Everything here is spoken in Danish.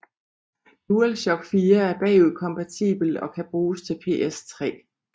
Dualshock 4 er bagudkompatibel og kan bruges til PS3